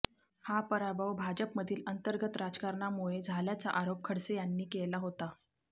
हा पराभव भाजपमधील अंतर्गत राजकारणामुळे झाल्याचा आरोप खडसे यांनी केला होता